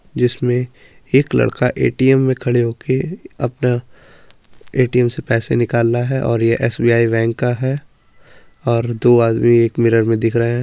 जिसमें एक लड़का एटीएम में खड़े होके अपना एटीएम से पैसा निकाल रहा है और यह एसबीआई बैंक का है और दो आदमी एक मिरर में दिख रहे है।